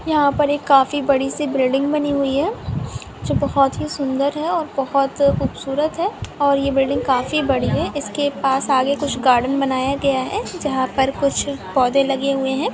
यहाँ पर एक काफी बड़ी सी बिल्डिंग बनी हुई है। जो बोहोत ही सुन्दर है। और बोहोत खूबसूरत है। और ये बिल्डिंग काफी बड़ी है ।इसके पास आगे कुछ गार्डन बनाया गया है। जहाँ पर कुछ पौधे लगे हुए है।